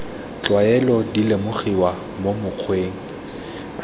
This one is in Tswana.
tlwaelo di lemogiwa mo mokgweng